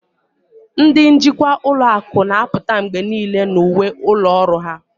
Ndị njikwa ụlọ akụ na-apụta mgbe niile na uwe ụlọ ọrụ